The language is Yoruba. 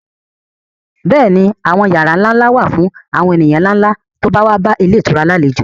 Bẹ́ẹ̀ ni àwọn yàrá ńlá ńlá wà fún àwọn ènìyàn ńlá tí ó bá bá ilé ìtura ní àlejò